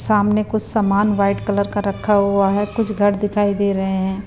सामने कुछ सामान वाइट कलर का रखा हुआ है कुछ घर दिखाई दे रहे हैं।